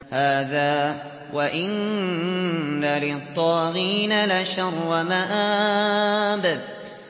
هَٰذَا ۚ وَإِنَّ لِلطَّاغِينَ لَشَرَّ مَآبٍ